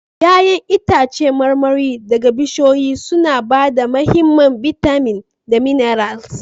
Ya'yan itãcen marmari daga bishiyoyi suna ba da mahimman bitamin da minerals